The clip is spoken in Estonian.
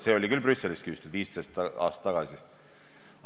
See sai Brüsselist küsitud 15 aastat tagasi.